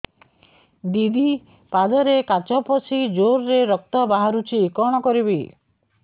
ଦିଦି ପାଦରେ କାଚ ପଶି ଜୋରରେ ରକ୍ତ ବାହାରୁଛି କଣ କରିଵି